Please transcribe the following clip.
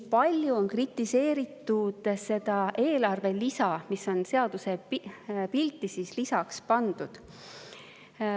Palju on kritiseeritud seda eelarve lisa, mis on seadusepilti lisaks pandud.